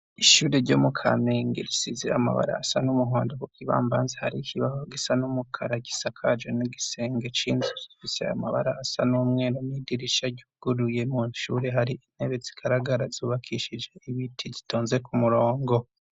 Ishure ryo mu Kamenge risize amabara asa n'umuhondo ku kibambazi hari ikibaho gisa n'umukara gisakaje n'igisenge c'inzu gifise amabara asa n'umweru n'idirisha ryuguruye, mw'ishure hari intebe zigaragara zubakishije ibiti zitonze ku murongo.